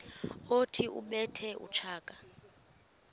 othi ubethe utshaka